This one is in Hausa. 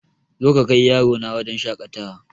Zo ka kai yarona wajen shakatawa